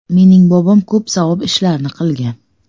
Mening bobom ko‘p savob ishlarni qilgan.